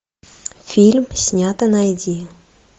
фильм снято найди